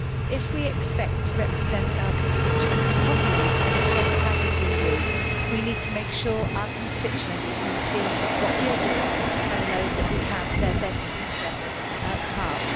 If we expect to represent our constituents properly in a democratic EU, we need to make sure our constituents can see what we are doing and know that we have their best interests at heart.